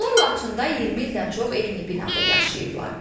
Onlar Laçında 20 ildən çox eyni binada yaşayıblar.